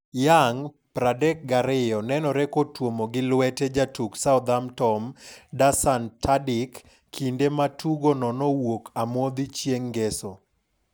Young, 32, nonenore kotuomo gi lwete jatuk Southampton, Dusan Tadic, kinde ma tugono nowuok amodhi chieng' Ngeso.